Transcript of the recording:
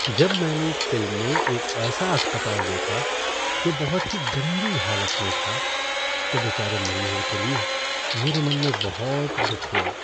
जब मैंने एक फ़िल्म में एक ऐसा अस्पताल देखा जो बहुत ही गंदी हालत में था तो बेचारे मरीजों के लिए मेरे मन में बहुत दुख हुआ।